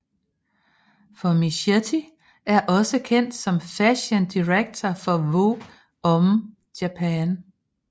Formichetti er også kendt som fashion director for Vogue Hommes Japan